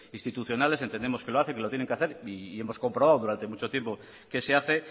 institucionales entendemos que lo hacen que lo tienen que hacer y hemos comprobado durante mucho tiempo que se hace